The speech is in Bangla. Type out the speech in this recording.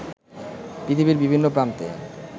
পৃথিবীর বিভিন্ন প্রান্তে